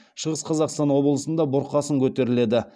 шығыс қазақастан облысында бұрқасын көтеріледі